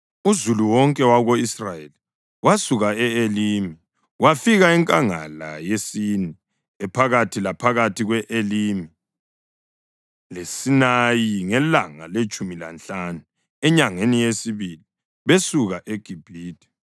Uzulu wonke wako-Israyeli wasuka e-Elimi, wafika enkangala yeSini ephakathi laphakathi kwe-Elimi leSinayi ngelanga letshumi lanhlanu enyangeni yesibili besuke eGibhithe.